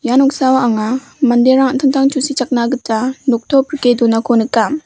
ian mingsa anga manderang an·tangtang tusichakani gita noktop rike donako nika.